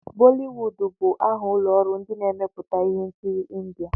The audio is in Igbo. Bọliwud bụ aha ụlọ ọrụ ndị na-emepụta ihe nkiri India.